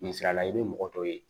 Misala la i bɛ mɔgɔ dɔ ye